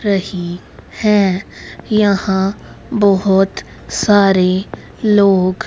रही है यहां बहोत सारे लोग--